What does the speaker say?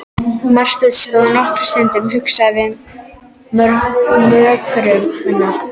Marteinn stóð nokkra stund hugsi við mógröfina.